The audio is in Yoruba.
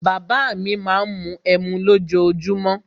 Bàbá à mi má ń mu ẹmu lójoojúmó.